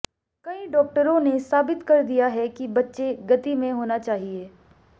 कई डॉक्टरों ने साबित कर दिया है कि बच्चे गति में होना चाहिए